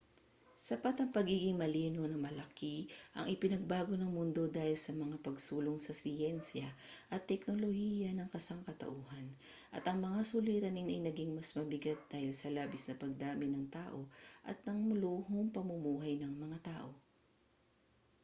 sapat ang pagiging malinaw na malaki ang ipinagbago ng mundo dahil sa mga pagsulong sa siyensiya at teknolohiya ng sangkatauhan at ang mga suliranin ay naging mas mabigat dahil sa labis na pagdami ng tao at ang maluhong pamumuhay ng mga tao